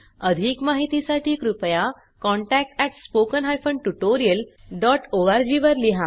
अधिक माहितीसाठी कृपया contact at spoken hyphen tutorial dot O R G वर लिहा